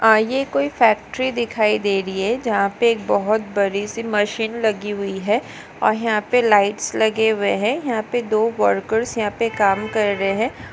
अ ये कोई फैक्ट्री दिखाई दे रही है। जहा पे एक बहुत बड़ी सी मशीन लगी हुई है और यहा पे लाइट लगे हुए है यहा पे दो वर्कर्स यहा पे काम कर रहे है।